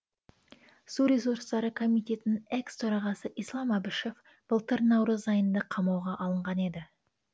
су ресурстары комитетінің экс төрағасы ислам әбішев былтыр наурыз айында қамауға алынған еді